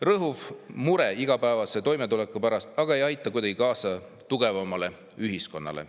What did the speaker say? Rõhuv mure igapäevase toimetuleku pärast aga ei aita kuidagi kaasa tugevamale ühiskonnale.